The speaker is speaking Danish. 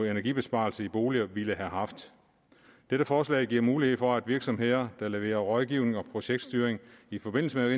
energibesparelser i boliger ville have haft dette forslag giver mulighed for at virksomheder der leverer rådgivning og projektstyring i forbindelse med